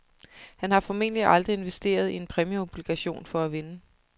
Han har formentlig aldrig investeret i en præmieobligation for at vinde.